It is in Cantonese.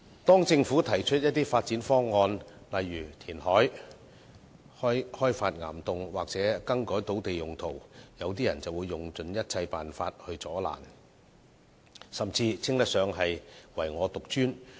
當政府提出發展方案，例如填海、開發岩洞或更改土地用途時，有些人便會用盡一切辦法加以阻攔，甚至可形容為"唯我獨尊"。